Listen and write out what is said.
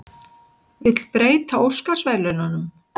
Vill breyta Óskarsverðlaununum